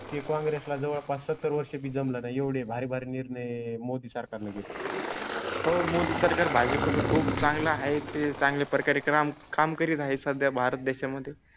ते कॉंग्रेस ला जवळपास सत्तर वर्षात जमलं नाही एवढे भारी भारी निर्णय मोदी सरकारने घेतले. हो मोदी सरकार भाजी पासून खूप चांगलं आहे. ते चांगल्या प्रकारे काम काम करीत आहे. सध्या भारत देशा मध्ये